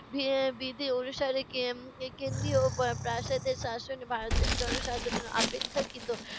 B~ বিধি অনুসারে কে~ কেন্দ্রীয় পা~ প্রাসাদের শাসক ভারতের জনসাধারন অপেক্ষাকৃত